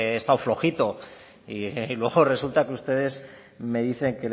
he estado flojito y luego resulta que ustedes me dicen